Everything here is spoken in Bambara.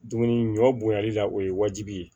Dumuni ɲɔ bonyali la o ye wajibi ye